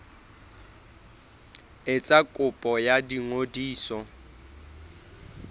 etsa kopo ya ho ngodisa